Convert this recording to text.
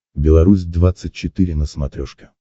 беларусь двадцать четыре на смотрешке